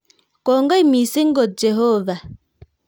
Kongoi mising' kot. Jehovah,